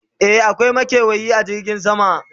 e akwai makewayi a jirgin sama